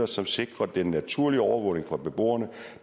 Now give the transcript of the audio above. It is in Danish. som sikrer den naturlige overvågning for beboerne